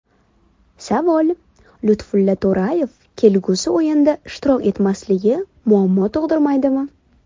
Savol: Lutfulla To‘rayev kelgusi o‘yinda ishtirok etmasligi muammo tug‘dirmaydimi?